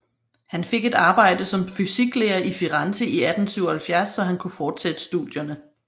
Han fik et arbejde som fysiklærer i Firenze i 1877 så han kunne fortsætte studierne